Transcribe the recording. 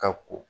Ka ko